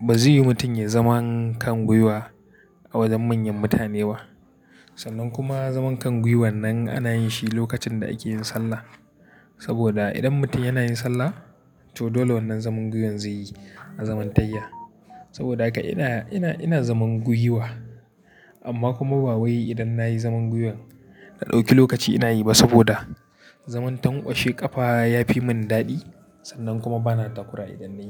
ba zai yi mutum ya zama kan guiwa a wajen manyan mutane ba. Sannan kuma zaman kan guiwan nan ana yin shi lokacin da ake yin sallah. Saboda idan mutum yana yin sallah to dole wannan zaman guyan zai yi azaman tayya. Saboda haka ina, ina zaman guiwa amma kuma ba wai idan na yi zaman guiwan na ɗauki lokaci ina yi ba saboda zaman tankwashe kafa ya fi mun daɗi. Sannan kuma bana takura idan na yi.